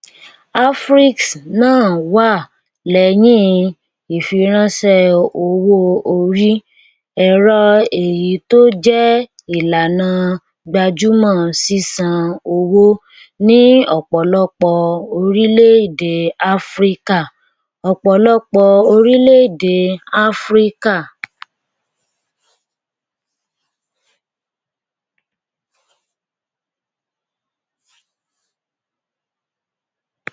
afriex náà wà lẹyìn ìfiránṣẹ owó orí ẹrọ èyí tó jẹ ìlànà gbajúmọ sísan owó ní ọpọlọpọ orílẹèdè áfíríkà ọpọlọpọ orílẹèdè áfíríkà